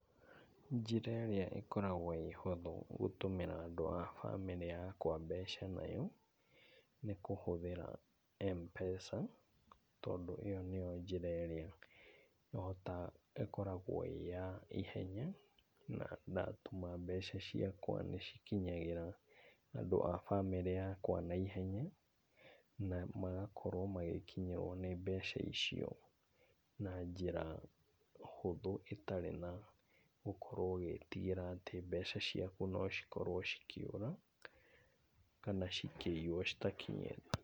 Njĩra ĩrĩa ĩkoragwo ĩhuthũ gũtũmĩra andũ abamĩrĩ yakwa mbeca nayo, nĩkũhuthĩra Mpesa, tondũ ĩyo nĩyo njĩra ĩrĩa ĩkoragwo ĩyaihenya na ndatũma mbeca ciakwa nĩcikinagĩra andũ abamĩrĩ yakwa naihenya na magakorwo magĩkinyĩrwa nĩ mbeca icio na njĩra hũthũ ĩtarĩ na gũkorwo ũgĩtigĩra atĩ mbeca ciaku nocikorwe cikiũra kana cikĩio citakinyĩte .